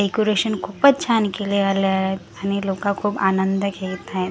Decoration खूपच छान केलेल आहेत आणि लोक खूप आनंद घेत आहे.